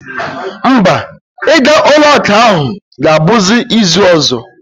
Mba, ịga ụlọakụ ahụ ga-abụzi izu ọzọ